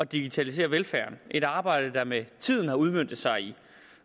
digitalisere velfærden et arbejde der med tiden har udmøntet sig i